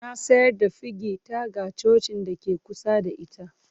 Na sayar da fegi ta ga cocin da ke kusa da ita.